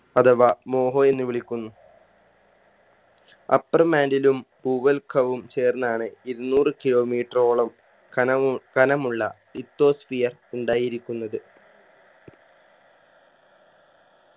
അഥവാ മോഹോ എന്ന് വിളിക്കുന്നു upper mantle ഉം ഭൂവൽക്കവും ചേർന്നാണ് ഇരുന്നൂറ് kilometer ഓളം ഖനവും ഖനമുള്ള lithosphere ഉണ്ടായിരിക്കുന്നത്